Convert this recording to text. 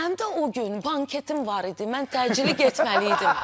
Mənim də o gün banketim var idi, mən təcili getməli idim.